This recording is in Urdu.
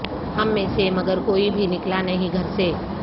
ہم میں سے مگر کوئی بھی نکلا نہیں گھر سے